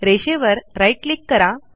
रेषेवर right click करा